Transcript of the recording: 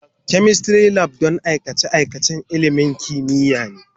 Chemistry Lab shine don aikace-aikacen ilimin kimiyya.